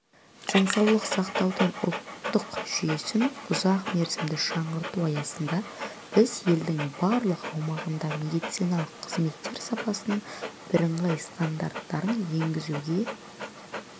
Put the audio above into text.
денсаулық сақтаудың ұлттық жүйесін ұзақмерзімді жаңғырту аясында біз елдің барлық аумағында медициналық қызметтер сапасының бірыңғай стандарттарын енгізуге